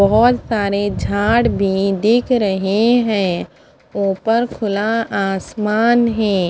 बहोत सारे झाड़ भी दिख रहे है ऊपर खुला आसमान है।